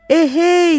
Ehey!